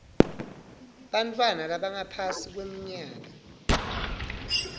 bantfwana labangaphasi kweminyaka